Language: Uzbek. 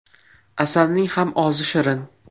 Asalning ham ozi shirin.